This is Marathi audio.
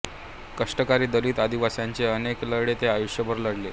कष्टकरी दलित आदिवासींचे अनेक लढे ते आयुष्यभर लढले